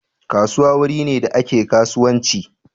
Kasuwa wuri ne da ake kasuwanci